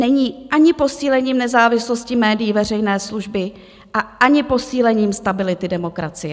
Není ani posílením nezávislosti médií veřejné služby a ani posílením stability demokracie.